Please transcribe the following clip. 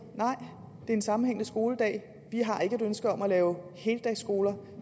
er en sammenhængende skoledag vi har ikke et ønske om at lave heldagsskoler